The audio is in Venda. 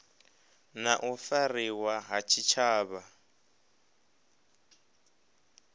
na u fariwa ha tshitshavha